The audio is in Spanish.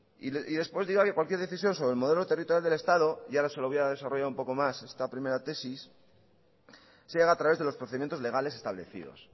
y después dígame cualquier decisión sobre el modelo territorial del estado y ahora se lo voy a desarrollar un poco más esta primera tesis se haga a través de los procedimientos legales establecidos